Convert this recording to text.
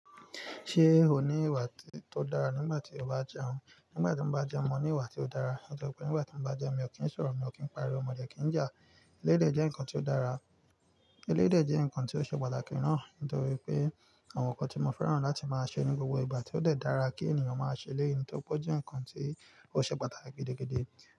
Ṣé o ní ìwà tó dára nígbà tí o bá jẹun? Nígbà tí mo bá jẹun, mo ní ìwà tí ó dára. Nítorí pé nígbà tí mo bá jẹun, mi ò kí ń sọ̀rọ̀, mi ò kí ń pariwo, mo dẹ kí ń jẹ à. Eléyi dè jẹ́ ǹkan tí ó dára. Èléyì de jẹ́ ǹkan tí ó ṣe pàtàkì ná. Nítorí pé àwọn ǹkan tí mo fẹ́ràn láti máa ṣe ní gbogbo ìgbà, tó dẹ̀ dára kí ènìyàn máa ṣe lẹ́yìn tí ó pójú ǹkan tí ó ṣe pàtàkì gidi, gidi.